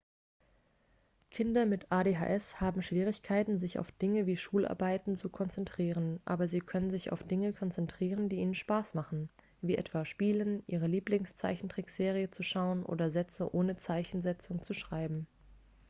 kinder mit adhs haben schwierigkeiten sich auf dinge wie schularbeiten zu konzentrieren aber sie können sich auf dinge konzentrieren die ihnen spaß machen wie etwa spielen ihre lieblingszeichentrickserie zu schauen oder sätze ohne zeichensetzung zu schreiben